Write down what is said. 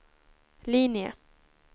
linje